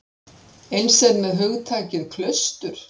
Eins er með hugtakið klaustur.